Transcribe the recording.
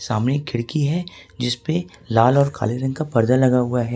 सामने खिड़की है जिसपे लाल और काले रंग का पर्दा लगा हुआ है।